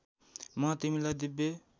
म तिमीलाई दिव्य